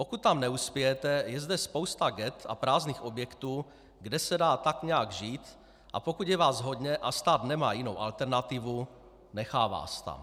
Pokud tam neuspějete, je zde spousta ghett a prázdných objektů, kde se dá tak nějak žít, a pokud je vás hodně a stát nemá jinou alternativu, nechá vás tam.